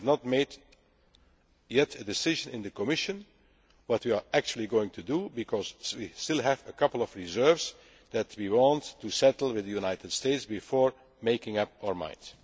such. We have not yet made a decision in the Commission on what we are actually going to do, because we still have a couple of reserves that we want to settle with the United States before making up our